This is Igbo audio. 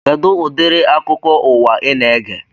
Kedụ udiri akụkọ ụwa ị na-ege